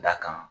Da kan